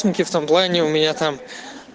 сумке в том плане у меня там